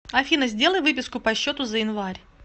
афина сделай выписку по счету за январь